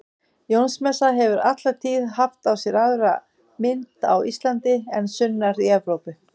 Jónsmessa hefur alla tíð haft á sér aðra mynd á Íslandi en sunnar í Evrópu.